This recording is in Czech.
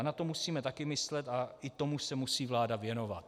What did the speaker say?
A na to musíme taky myslet a i tomu se musí vláda věnovat.